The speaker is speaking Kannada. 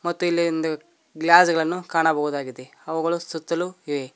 ಮತ್ತು ಇಲ್ಲಿ ಇಂದು ಗ್ಲಾಸ್ ಗಳನ್ನು ಕಾಣಬಹುದಾಗಿದೆ ಅವುಗಳು ಸುತ್ತಲು ಇವೆ.